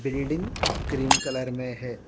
Building cream colour में है।